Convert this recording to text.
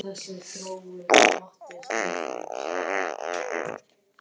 Að læra teikningu eða eitthvað í sambandi við fatahönnun.